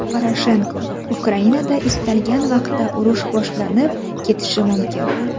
Poroshenko: Ukrainada istalgan vaqtda urush boshlanib ketishi mumkin.